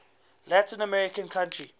latin american country